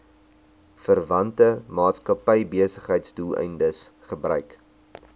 verwante maatskappybesigheidsdoeleindes gebruik